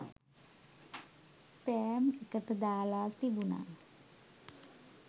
spam එකට දාලා තිබුණ